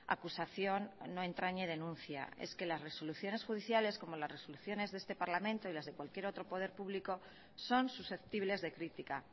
acusación no entrañe denuncia es que las resoluciones judiciales como las resoluciones de este parlamento y las de cualquier otro poder público son susceptibles de crítica